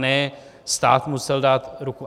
Ne, stát musel dát ruku.